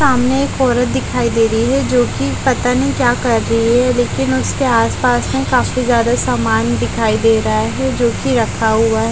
सामने एक औरत दिखाई दे रही है जो की पता नहीं क्या कर रही है लेकिन उसके आसपास में काफी ज्यादा सामान दिखाई दे रहा है जो की रखा हुआ है।